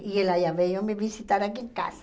E ela já veio me visitar aqui em casa.